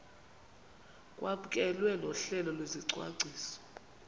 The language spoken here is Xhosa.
kwamkelwe nohlelo lwesicwangciso